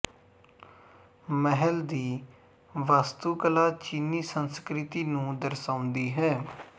ਮਹਿਲ ਦੀ ਵਾਸਤੂਕਲਾ ਚੀਨੀ ਸੰਸਕ੍ਰਿਤੀ ਨੂੰ ਦਰਸਾਉਂਦੀ ਹੈ